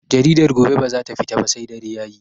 Jaridar gobe bazata fita ba sai dare Yayi